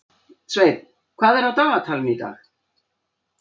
Sveinn, hvað er á dagatalinu í dag?